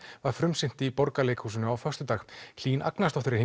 var frumsýnt í Borgarleikhúsinu á föstudag Hlín Agnarsdóttir er